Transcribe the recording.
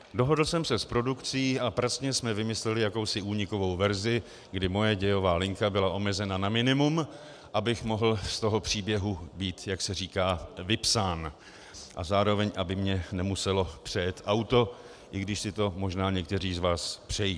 Dohodl jsem se s produkcí a pracně jsme vymysleli jakousi únikovou verzi, kdy moje dějová linka byla omezena na minimum, abych mohl z toho příběhu být, jak se říká, vypsán a zároveň aby mě nemuselo přejet auto, i když si to možná někteří z vás přejí.